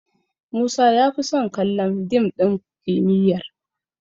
Musa ya fi son kallon dim ɗin kimiyyar